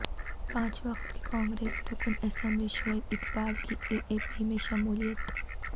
پانچ وقت کے کانگریس رکن اسمبلی شعیب اقبال کی اے اے پی میں شمولیت